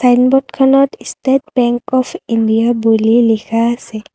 চাইনব'ৰ্ডখনত state bank of India বুলি লিখা আছে।